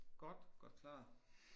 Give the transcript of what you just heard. Godt godt klaret